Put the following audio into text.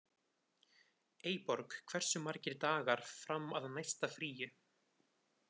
Eyborg, hversu margir dagar fram að næsta fríi?